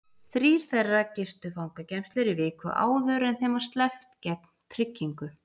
Þrír þeirra gistu fangageymslur í viku áður en þeim var sleppt gegn tryggingu.